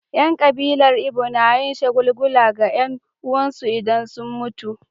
Yan kabilar Igbo na yin shagulgula ga 'yan uwansu idan sun mutu.